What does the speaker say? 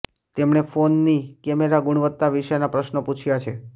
તેમણે ફોનની કેમેરા ગુણવત્તા વિશેના પ્રશ્નો પૂછ્યા છે